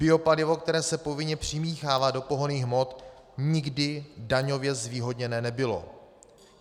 Biopalivo, které se povinně přimíchává do pohonných hmot, nikdy daňově zvýhodněné nebylo.